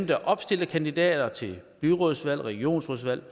der opstiller kandidater til byrådsvalg regionsrådsvalg